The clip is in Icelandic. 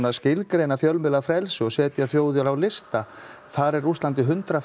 skilgreina fjölmiðlafrelsi og setja þjóðir á lista þar er Rússland í hundrað